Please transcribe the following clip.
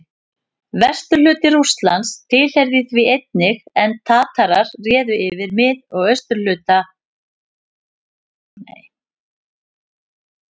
Vesturhluti Rússlands tilheyrði því einnig, en Tatarar réðu yfir mið- og suðurhluta landsins.